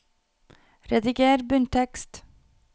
Rediger bunntekst